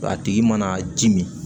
A tigi mana ji min